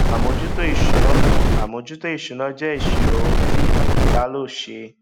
àmójútó ìṣúná àmójútó ìṣúná jẹ ìṣirò ohun tí tálọ se